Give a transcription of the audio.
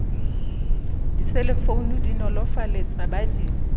diselefounu di nolofaletsa ba di